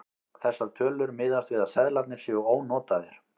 Þessar tölur miðast við að seðlarnir séu ónotaðir.